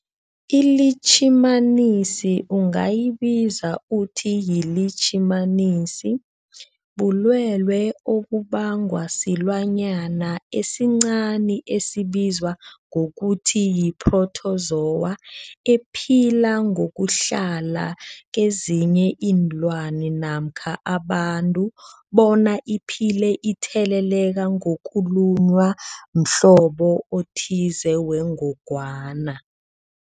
iLitjhimanisi ungayibiza uthiyilitjhimanisi, bulwelwe obubangwa silwanyana esincani esibizwa ngokuthiyi-phrotozowa ephila ngokuhlala kezinye iinlwana, abantu bona iphile itheleleka ngokulunywa mhlobo othize wengogwana.